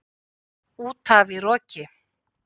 Útaf í roki